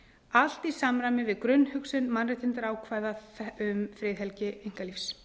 allt í samræmi við grunnhugsun mannréttindaákvæða um friðhelgi einkalífs